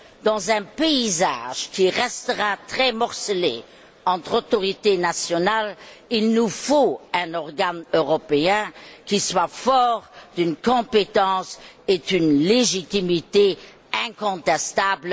Dans un paysage qui restera très morcelé entre autorités nationales, il nous faut un organe européen qui soit fort d'une compétence et d'une légitimité incontestables.